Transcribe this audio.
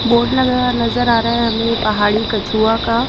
Board लगा नजर आ रहा है हमें पहाड़ी कछुआ का।